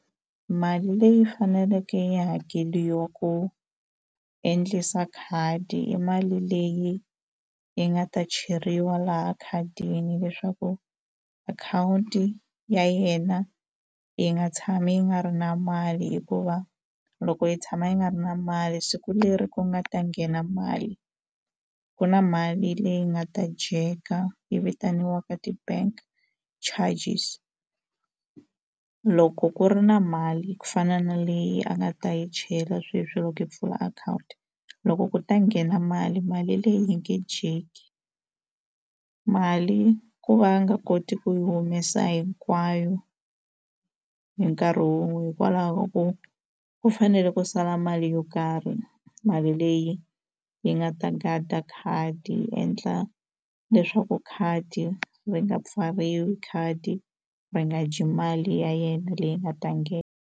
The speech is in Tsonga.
Mali leyi faneleke yi hakeriwa ku endlisa khadi i mali leyi yi nga ta cheriwa laha khadini leswaku akhawunti ya yena yi nga tshami yi nga ri na mali hikuva loko yi tshama yi nga ri na mali siku leri ku nga ta nghena mali ku na mali leyi nga ta dyeka yi vitaniwaka ti-bank charges loko ku ri na mali ku fana na leyi a nga ta yi chela sweswi loko yi pfula akhawunti loko ku ta nghena mali mali leyi yi nge dyeki mali ku va a nga koti ku yi humesa hinkwayo hi nkarhi wun'we hikwalaho ko ku fanele ku sala mali yo karhi mali leyi yi nga ta gada khadi yi endla leswaku khadi ri nga pfariwi khadi ri nga dyi mali ya yena leyi nga ta .